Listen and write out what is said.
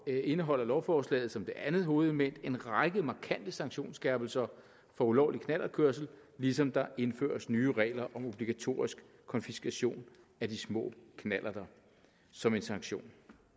indeholder lovforslaget som det andet hovedelement en række markante sanktionsskærpelser for ulovlig knallertkørsel ligesom der indføres nye regler om obligatorisk konfiskation af de små knallerter som en sanktion